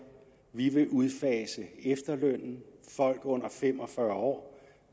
vi vil udfase efterlønnen folk under fem og fyrre år